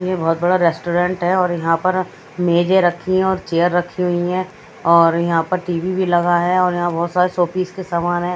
यह बहोत बड़ा रेस्टोरेंट है और यहां पर मेजे रखी है और चेयर रखी हुई है और यहां पर टी_वी भी लगा है और यहां बहोत सारे शोपीस के समान है।